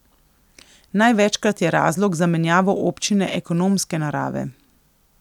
Največkrat je razlog za menjavo občine ekonomske narave.